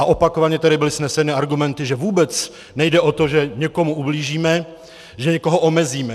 A opakovaně tady byly vzneseny argumenty, že vůbec nejde o to, že někomu ublížíme, že někoho omezíme.